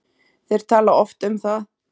Þeir tala oft um það.